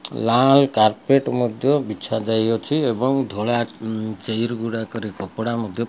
ଲାଲ carpet ମଧ୍ୟ ବିଛାଯାଇଅଛି ଏବଂ ଧଳା ଚେୟାର ଗୁଡାକରେ କପଡା ମଧ୍ୟ --